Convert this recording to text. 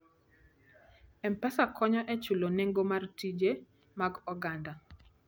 M-Pesa konyo e chulo nengo mag tije mag oganda.